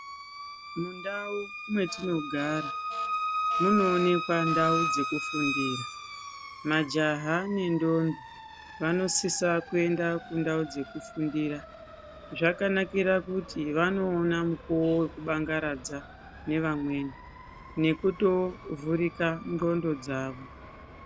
Mundau mwetinogara munoonekwa ndau dzekufundira majaha nendombi vanosisa kuenda kundau dzekufundira zvakanakira kuti vanokona mukuwo wekubangaradza nevamweni nekutovhurika ndxondo dzawo.